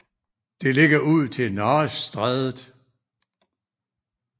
Det ligger ud til Nares Strædet